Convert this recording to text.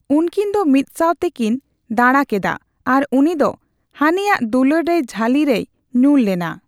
ᱩᱱᱠᱤᱱ ᱫᱚ ᱢᱤᱫᱥᱟᱣ ᱛᱮᱠᱤᱱ ᱫᱟᱬᱟ ᱠᱮᱫᱟ ᱟᱨ ᱩᱱᱤ ᱫᱚ ᱦᱟᱹᱱᱤᱭᱟᱜ ᱫᱩᱞᱟᱹᱲ ᱨᱮᱭ ᱡᱷᱟᱹᱞᱤ ᱨᱮᱭ ᱧᱩᱨ ᱞᱮᱱᱟ ᱾